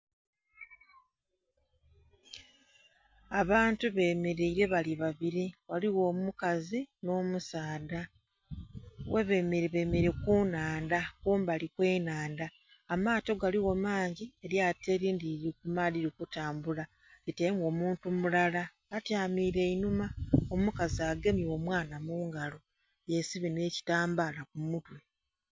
Abantu bemeleira bali babiri bali ghaligho omukazi nho musaadha, ghebemeraire bemeraire nhandha kumbali w'enhandha amaato galigho mangi, eryato elindhi lili ku maadhi lili kutambula. Litailemu omuntu mulala, atyamire inhuma, omukazi agamye omwana mungala yesibye nhekitambala ku mutwe.